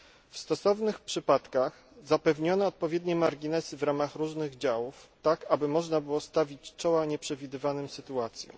W stosownych przypadkach zapewniono odpowiednie marginesy w ramach różnych działów, tak aby można było stawić czoła nieprzewidywanym sytuacjom.